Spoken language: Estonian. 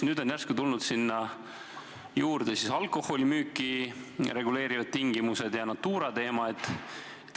Nüüd on järsku tulnud sinna juurde alkoholimüüki reguleerivad tingimused ja Natura teema.